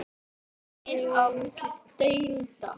Finnst ykkur mikið bil á milli deilda?